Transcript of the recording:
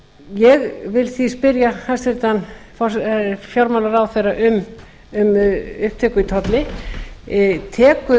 ég vil því spyrja hæstvirtan fjármálaráðherra um upptöku í tolli telur hann